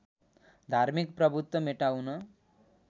धार्मिक प्रभुत्व मेटाउन